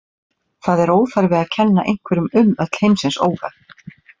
Það er óþarfi að kenna einhverjum um öll heimsins óhöpp.